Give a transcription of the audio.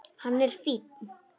Hann er fínn.